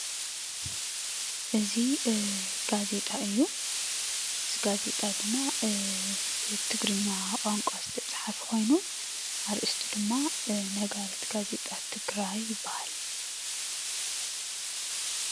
እዚ ጋዜጣ እዩ፡፡ እዚ ጋዜጣ ድማ ብትግርኛ ቋንቋ ዝተፃሓፈ ኮይኑ እዚ ኣርእስቱ ድማ ነጋሪት ጋዜጣ ትግራይ ይባሃል፡፡